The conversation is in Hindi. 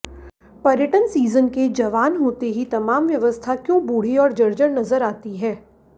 पर्यटन सीजन के जवान होते ही तमाम व्यवस्था क्यों बूढ़ी और जर्जर नजर आती है